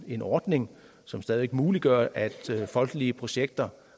en ordning som stadig væk muliggør at folkelige projekter